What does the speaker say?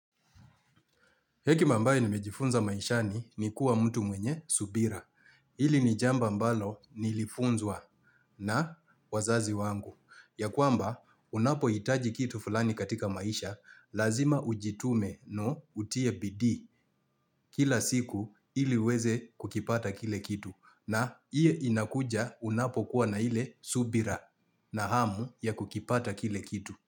Hekima ambayo nimejifunza maishani ni kuwa mtu mwenye subira. Hili ni jambo ambalo nilifunzwa na wazazi wangu. Ya kuamba, unapohitaji kitu fulani katika maisha, lazima ujitume no utie bidi kila siku ili weze kukipata kile kitu. Na iye inakuja unapokuwa na hile subira na hamu ya kukipata kile kitu.